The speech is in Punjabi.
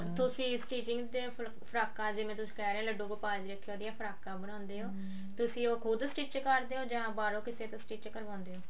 ਤੁਸੀਂ stitching ਦੇ ਫਰਾਕਾਂ ਜਿਵੇਂ ਤੁਸੀਂ ਇਹ ਰਹੇ ਓ ਲੱਡੂ ਗੋਪਾਲ ਜੀ ਖੇ ਉਹਨਾ ਦੀ ਫਰਾਕਾਂ ਬਣਾਉਂਦੇ ਓ ਤੁਸੀਂ ਉਹ ਹੂੜ stich ਰਦੇ ਹੋ ਜਾਂ ਬਾਹਰੋਂ ਕਿਸੇ ਤੋਂ ਕਰਵਾਉਂਦੇ ਹੋ